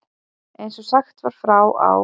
Eins og sagt var frá á